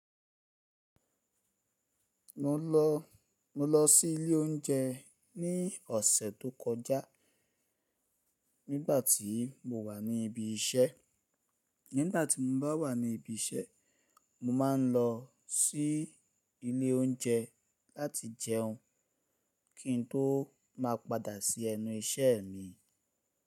Mo lọ, mo lọ sí ilé oúnjẹ ní ọ̀sẹ̀ tó kọjá. Nígbà tí mo wà ní ibi iṣẹ́, nígbà tí mo bá wà ní ibi iṣẹ́, mo máa ń lọ sí ilé oúnjẹ láti jẹun kín tó máa padà sí ẹnu iṣẹ́ mi.